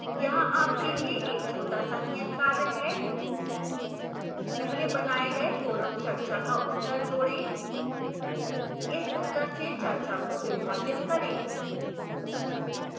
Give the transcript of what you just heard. यहाँ आपके लिए एक छोटा सा नियतकार्य है